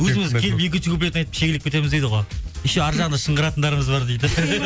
өзіміз келіп екінші куплетін айтып шегелеп кетеміз дейді ғой еще ары жағында шыңғыратындарымыз бар дейді